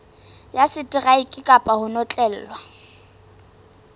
ya seteraeke kapa ho notlellwa